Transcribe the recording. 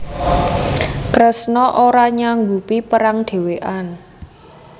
Kresna ora nyanggupi perang dhewekan